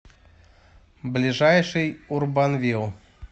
ближайший урбанвил